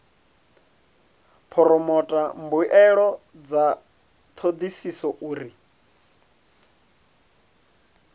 phoromotha mbuelo dza thodisiso uri